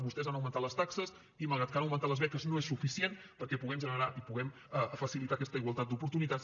vostès han augmentat les taxes i malgrat que han augmentat les beques no és suficient perquè puguem generar i puguem facilitar aquesta igualtat d’oportunitats